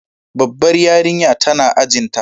Babbar yarinya tana ajin ta.